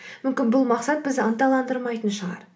мүмкін бұл мақсат бізді ынталандырмайтын шығар